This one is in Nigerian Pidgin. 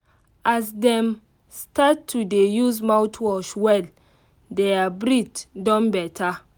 as dem start to dey use mouthwash well their breath don better